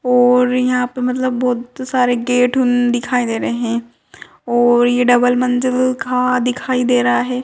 और यहाँ पे मतलब बहुत सारे गेट दिखाई दे रहे है और ये डबल मंज़िल का दिखाई दे रा है।